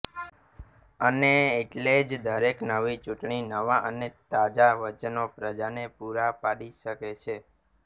અને એટલે જ દરેક નવી ચૂંટણી નવાં અને તાજા વચનો પ્રજાને પૂરાં પાડી શકે છે